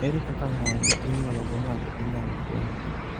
ere kaka ng'ol ma inyuolo go ng'ato inyalo fweny?